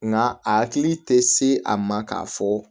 Nga a hakili tɛ se a ma k'a fɔ